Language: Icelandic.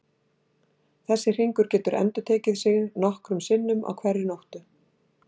Þessi hringur getur endurtekið sig nokkrum sinnum á hverri nóttu.